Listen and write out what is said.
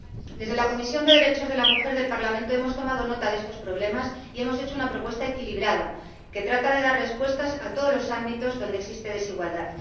Desde la Comisión de Derechos de la Mujer del Parlamento, hemos tomado nota de estos problemas y hemos hecho una propuesta equilibrada, que trata de dar respuestas a todos los ámbitos donde existe desigualdad.